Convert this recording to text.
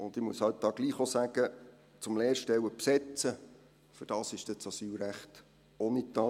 Dazu muss ich halt trotzdem auch sagen: Um Lehrstellen zu besetzen, dafür das ist das Asylrecht auch nicht da.